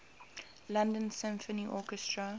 london symphony orchestra